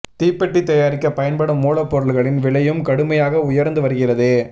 தீப்பெட்டி தயாரிக்க பயன்படும் மூலப்பொருட்களின் விலையும் கடுமையாக உயர்ந்து வருகிறது